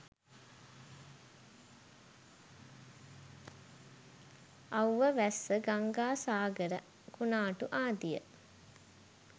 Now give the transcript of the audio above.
අව්ව වැස්ස ගංගා සාගර කුණාටු ආදිය